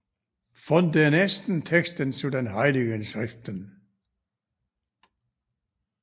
Von den ersten Texten zu den heiligen Schriften